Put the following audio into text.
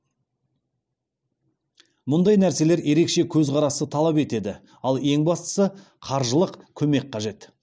мұндай нәрселер ерекше көзқарасты талап етеді ал ең бастысы қаржылық көмек қажет